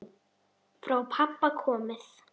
Frá pabba komið.